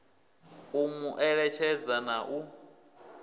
u mu eletshedza na u